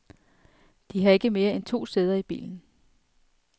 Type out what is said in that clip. De har ikke mere end to sæder i bilen.